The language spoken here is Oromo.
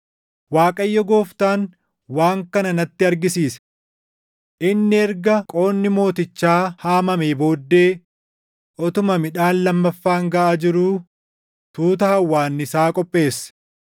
Waaqayyo Gooftaan waan kana natti argisiise: Inni erga qoodni mootichaa haamamee booddee, utuma midhaan lammaffaan gaʼaa jiruu tuuta hawwaannisaa qopheesse.